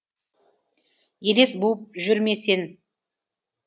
елес буып жүрме сен